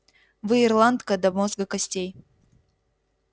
вы ирландка до мозга костей